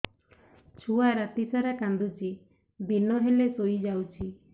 ଛୁଆ ରାତି ସାରା କାନ୍ଦୁଚି ଦିନ ହେଲେ ଶୁଇଯାଉଛି